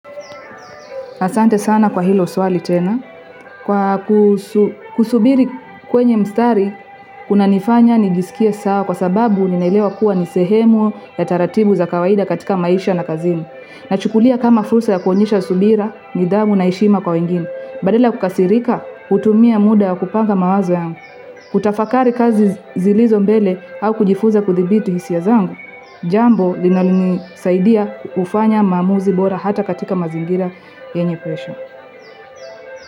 Asante sana kwa hilo swali tena. Kwa kusubiri kwenye mstari, kuna nifanya nijisikie sawa kwa sababu ninailewa kuwa nisehemu ya taratibu za kawaida katika maisha na kazini. Nachukulia kama fursa ya kuonyesha subira, nidhamu na heshima kwa wengine. Badala ya kukasirika, hutumia muda wakupanga mawazo yangu. Kutafakari kazi zilizombele au kujifuza kudhibiti hisia zangu. Jambo linalonisaidia kufanya maamuzi bora hata katika mazingira yenye presha.